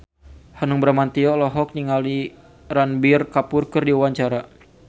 Hanung Bramantyo olohok ningali Ranbir Kapoor keur diwawancara